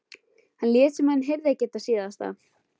Hann lét sem hann heyrði ekki þetta síðasta.